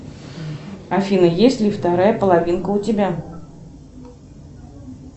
афина есть ли вторая половинка у тебя